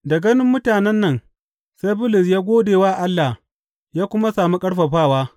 Da ganin mutanen nan sai Bulus ya gode wa Allah ya kuma sami ƙarfafawa.